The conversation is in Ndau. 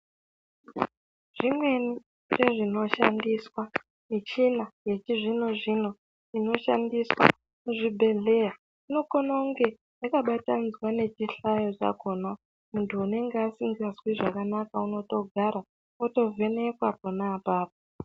Zvimweni zvezvinoshandiswa, michina yechizvino zvino inoshandiswa muzvibhedhlera inokone kunge yakabatanidzwa nechihlayo chakona muntu unenge asingazwi zvakanaka unotogara otovhenekwa pona apapo.